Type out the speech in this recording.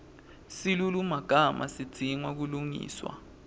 silulumagama sidzinga kulungiswa